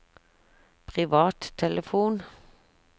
privattelefon